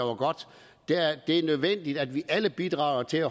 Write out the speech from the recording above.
er nødvendigt at vi alle bidrager til at